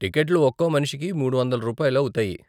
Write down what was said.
టికెట్లు ఒక్కో మనిషికి మూడు వందలు రూపాయలు అవుతాయి.